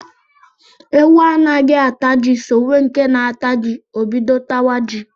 Ewu anaghị ata ji sowe nke na-ata ji, o bido tawa ji